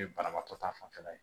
Ye banabagatɔ ta fanfɛla ye